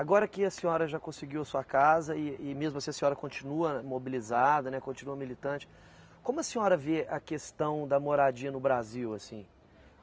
Agora que a senhora já conseguiu sua casa e e mesmo assim a senhora continua mobilizada, né, continua militante, como a senhora vê a questão da moradia no Brasil, assim?